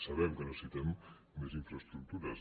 sabem que necessitem més infraestructures